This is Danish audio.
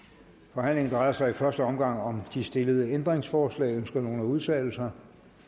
drejer sig i første omgang om de stillede ændringsforslag ønsker nogen at udtale sig